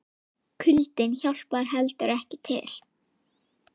Kuldinn hjálpar heldur ekki til.